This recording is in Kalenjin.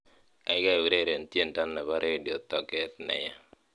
gaigai ureren tiendo nepo redio toget neya